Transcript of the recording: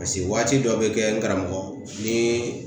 waati dɔ be kɛ karamɔgɔ ni